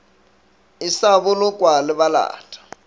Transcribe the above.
e sa bolokwa le balata